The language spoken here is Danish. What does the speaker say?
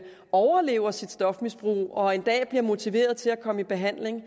overlever sit stofmisbrug og en dag bliver motiveret til at komme i behandling i